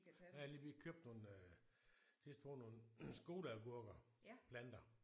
Jeg har lige vi har købt nogle sidste år nogle skoleagurker planter